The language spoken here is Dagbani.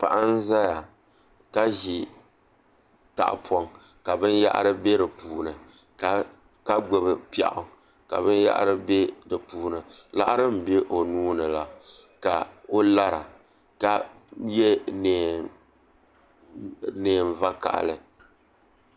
Paɣa n ʒɛya ka ʒi tahapoŋ ka binyahari bɛ di puuni ka gbubi piɛɣu ka binyahari bɛ di puuni laɣari n bɛ o nuuni la ka o lara ka yɛ neen vakaɣali